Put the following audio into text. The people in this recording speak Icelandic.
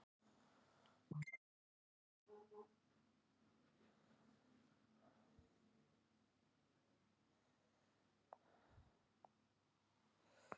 Þessi tilviljun kom svo flatt upp á mig að ég talaði af mér um Dór.